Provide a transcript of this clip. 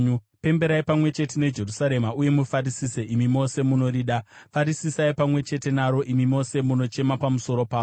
“Pemberai pamwe chete neJerusarema uye mufarisise nokuda kwaro, imi mose munorida; farisisai pamwe chete naro, imi mose munochema pamusoro paro.